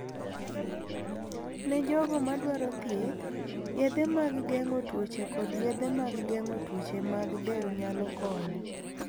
Ne jogo madwaro thieth, yedhe mag geng'o tuoche kod yedhe mag geng'o tuoche mag del nyalo konyo.